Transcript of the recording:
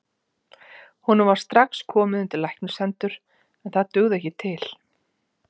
Honum var strax komið undir læknishendur, en það dugði ekki til.